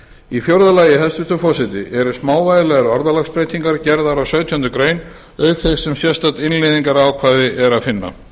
í fjórða lagi hæstvirtur forseti eru smávægilegar orðalagsbreytingar gerðar á sautjándu grein auk þess sem sérstakt innleiðingarákvæði er að finna